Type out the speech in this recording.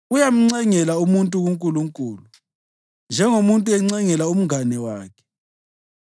uyamncengela umuntu kuNkulunkulu njengomuntu encengela umngane wakhe.